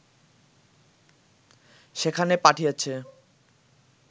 সেখানে পাঠিয়েছে